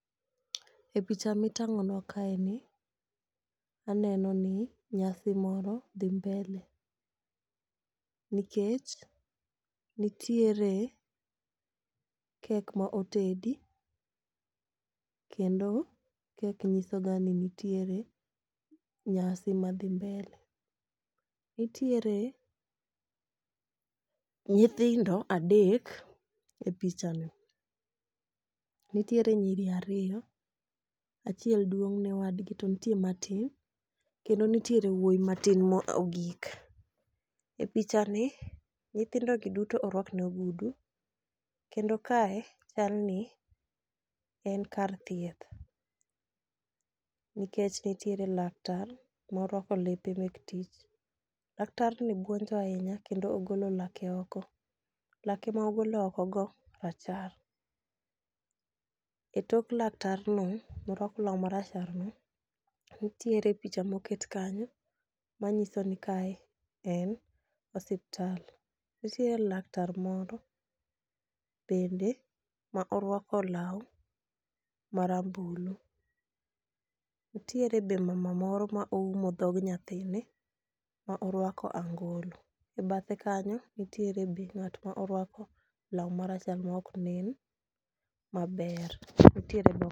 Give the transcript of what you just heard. E picha mitang'onwa kaeni, aneno ni nyasi moro dhi mbele nikech nitiere kek ma otedi kendo kek nyisoga ni nitiere nyasi madhi mbele. Nitiere nyithindo adek e pichani, nitiere nyiri ariyo, achiel duong' ne wadgi, to nitie matin kendo nitiere wuoyi matin mogik. E pichani nyithindogi duto orwak ni ogudu, kendo kae chalni en kar thieth, nikech nitiere laktar morwako lepe mek tich, laktarni buonjo ahinya kendo ogolo lake oko. Lake ma ogolo okgo rachar. E tok laktarno, morwako law maracharno, nitiere picha moket kanyo manyiso ni kae en osiptal. Nitie laktar moro bende ma orwako law marambulu, nitiere be mama moro ma oumo dhog nyathine ma orwako angolo,e bathe kanyo, nitiere be ng'at ma orwako law marachar ma ok nen maber.